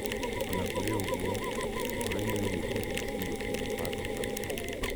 O na kũrĩ ũguo, ũhoro-inĩ wĩgiĩ KEC gũtirĩ mũbango ta ũcio.